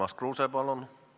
Urmas Kruuse, palun!